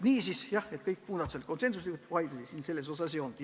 Niisiis, kõik muudatusettepanekud kiideti heaks konsensusega, vaidlusi ei olnud.